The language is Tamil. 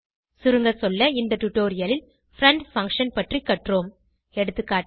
சுருங்கசொல்ல இந்த டுடோரியலில் பிரெண்ட் பங்ஷன் பற்றி கற்றோம் எகா